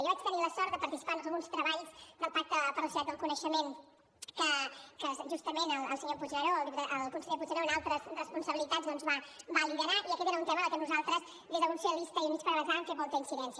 jo vaig tenir la sort de participar en uns treballs del pacte per a la societat del coneixement que justament el senyor puigneró el conseller puigneró en altres responsabilitats doncs va liderar i aquest era un tema en què nosaltres des del grup socialistes i units per avançar hem fet molta incidència